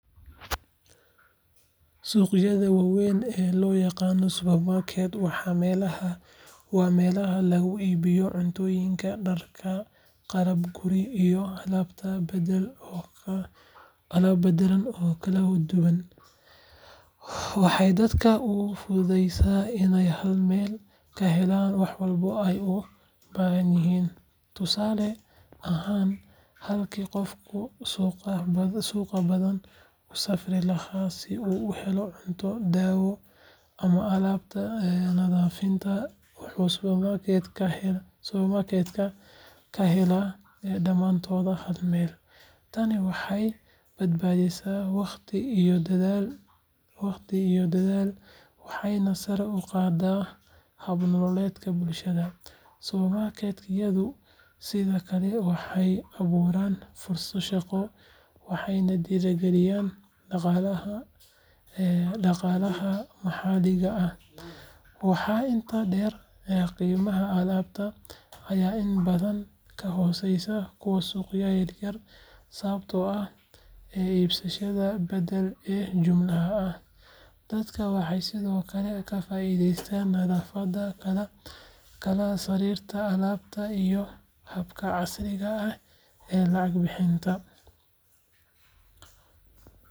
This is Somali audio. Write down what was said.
Suqayaada wawen oo lo yaqano supermarket waa melaha lagu ibiyo cuntoyinka darka qalabka lagu ibiyo alabta oo kala daduwan waxee dadka ogu fududeysa in ee hal meel kahelan wax walbo ee u bahanyihin, tani waxee bad badisa waqti iyo dadhal waxee na sara u qadaa bah jiro, waxaa inta deer qimaha alabta ee badan ka hosesa, dadka waxee ka faidestan nadhafaada iyo habka lacag bixinta,